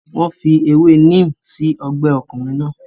Wọ́n fi ewé neem sí ọgbẹ́ ọkùnrin náà.